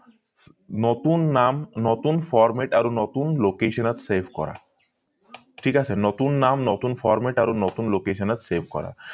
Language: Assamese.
নতুন নাম নতুন format আৰু নতুন location ত save কৰা থিক আছে নতুন নাম নতুন format আৰু নতুন location ত save কৰা